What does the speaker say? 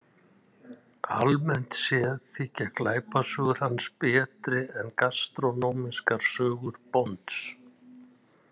Almennt séð þykja glæpasögur hans betri en gastrónómískar sögur Bonds.